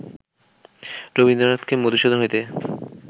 রবীন্দ্রনাথকে মধুসূদন হইতে